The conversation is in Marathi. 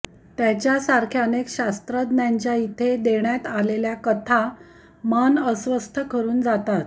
त्याच्यासारख्या अनेक शास्त्रज्ञांच्या इथे देण्यात आलेल्या कथा मन अस्वस्थ करून जातात